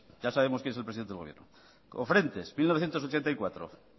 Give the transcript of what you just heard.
ya sabemos quien es el presidente del gobierno cofrentes mil novecientos ochenta y cuatro